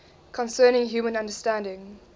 concerning human understanding